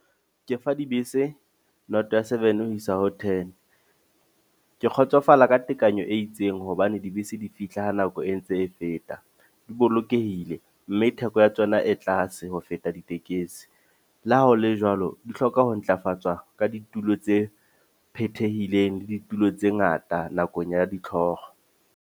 Ke fa dibese noto ya seven ho isa ho ten. Ke kgotsofala ka tekanyo e itseng hobane dibese di fihla ha nako e ntse e feta. Di bolokehile, mme ke theko ya tsona e tlase ho feta ditekesi. Le ha ho le jwalo, di hloka ho ntlafatswa ka ditulo tse phethehileng le ditulo tse ngata nakong ya ditlhoko.